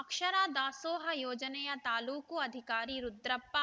ಅಕ್ಷರ ದಾಸೋಹ ಯೋಜನೆಯ ತಾಲೂಕು ಅಧಿಕಾರಿ ರುದ್ರಪ್ಪ